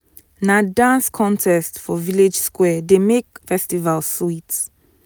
na dance contest for village square dey make festival sweet.